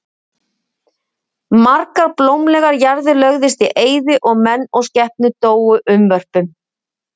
Margar blómlegar jarðir lögðust í eyði og menn og skepnur dóu unnvörpum.